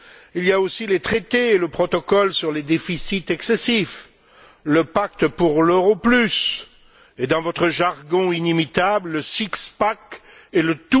Il y a aussi les traités, le protocole sur les déficits excessifs, le pacte pour l'euro plus et, dans votre jargon inimitable, le et le